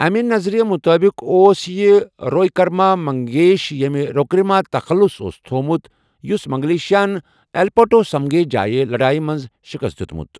امہِ نظریہ مُتٲبِق اوس یہِ رویکرما منگیش ،ییمہِ رویکرما تخلُص اوس تھوومُت، یس منگلیشاہن ایلپاٹوُ سِمبیگے جایہ لڈایہ منز شِکست دِیوُت ۔